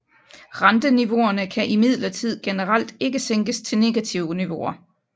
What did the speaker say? Renteniveauerne kan imidlertid generelt ikke sænkes til negative niveauer